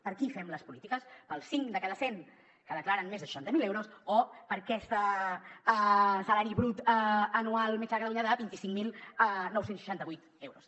per a qui fem les polítiques per als cinc de cada cent que declaren més de seixanta mil euros o per a aquest salari brut anual mitjà a catalunya de vint cinc mil nou cents i seixanta vuit euros